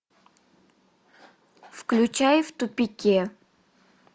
включай в тупике